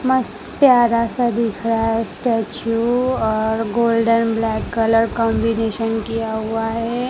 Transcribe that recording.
मस्त प्यारा सा दिख रहा है स्टैचू और गोल्डन ब्लैक ब्लैक कॉम्बिशन किया हुआ है।